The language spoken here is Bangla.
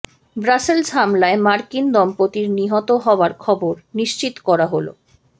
ব্রাসেলস হামলায় মার্কিন দম্পতির নিহত হওয়ার খবর নিশ্চিত করা হলো